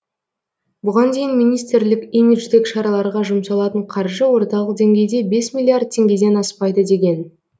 бұған дейін министрлік имидждік шараларға жұмшалатын қаржы орталық деңгейде бес миллиард теңгеден аспайды деген